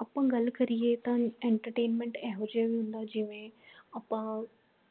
ਆਪਾ ਗੱਲ ਕਰੀਏ ਤਾਂ entertainment ਇਹੋ ਜਾ ਹੁੰਦਾ ਜਿਵੇਂ ਆਪਾ